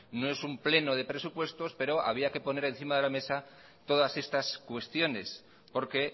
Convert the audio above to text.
no es pleno de presupuestos pero había que poner encima de la mesa todas estas cuestiones porque